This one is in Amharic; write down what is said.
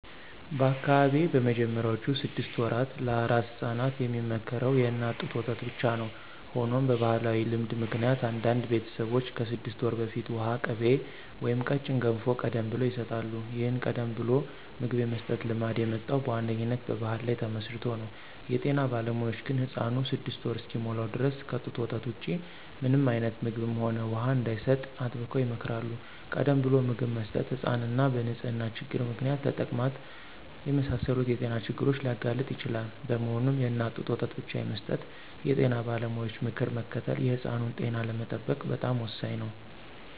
በአካባቢዬ በመጀመሪያዎቹ ስድስት ወራት ለአራስ ሕፃናት የሚመከረው የእናት ጡት ወተት ብቻ ነው። ሆኖም በባሕላዊ ልማድ ምክንያት አንዳንድ ቤተሰቦች ከስድስት ወር በፊት ውሃ፣ ቅቤ ወይም ቀጭን ገንፎ ቀደም ብለው ይሰጣሉ። ይህን ቀደም ብሎ ምግብ የመስጠት ልማድ የመጣው በዋነኛነት በባሕል ላይ ተመስርቶ ነው። የጤና ባለሙያዎች ግን ሕፃኑ ስድስት ወር እስኪሞላው ድረስ ከጡት ወተት ውጪ ምንም አይነት ምግብም ሆነ ውሃ እንዳይሰጥ አጥብቀው ይመክራሉ። ቀደም ብሎ ምግብ መስጠት ሕፃናትን በንጽህና ችግር ምክንያት ለተቅማጥ የመሳሰሉ የጤና ችግሮች ሊያጋልጥ ይችላል። በመሆኑም፣ የእናት ጡት ወተት ብቻ የመስጠት የጤና ባለሙያዎችን ምክር መከተል የሕፃኑን ጤና ለመጠበቅ በጣም ወሳኝ ነው።